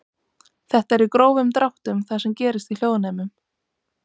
Þetta er í grófum dráttum það sem gerist í hljóðnemum.